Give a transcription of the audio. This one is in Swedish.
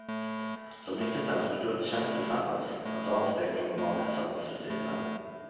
De gick inte ens på gudstjänst tillsammans, ett avsteg från de vanliga söndagsrutinerna.